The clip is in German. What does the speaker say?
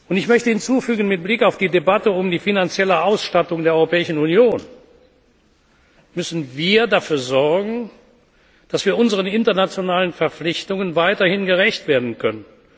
Ich möchte mit Blick auf die Debatte über die finanzielle Ausstattung der Europäischen Union hinzufügen, dass wir dafür sorgen müssen, dass wir unseren internationalen Verpflichtungen weiterhin gerecht werden können.